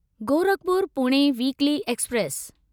Gorakhpur Pune weekly express